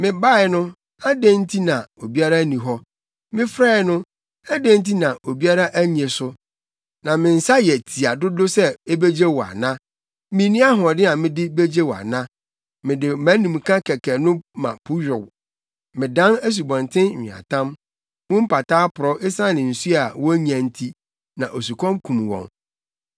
Mebae no, adɛn nti na na obiara nni hɔ? Mefrɛe no, adɛn nti na obiara annye so? Na me nsa yɛ tia dodo sɛ ebegye wo ana? Minni ahoɔden a mede begye wo ana? Mede mʼanimka kɛkɛ no ma po yow, medan nsubɔnten nweatam mu mpataa porɔw esiane nsu a wonnya nti na osukɔm kum wɔn.